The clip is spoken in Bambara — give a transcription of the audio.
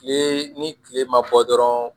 Kile ni kile ma bɔ dɔrɔn